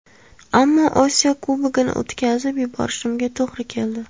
Ammo Osiyo Kubogini o‘tkazib yuborishimga to‘g‘ri keldi.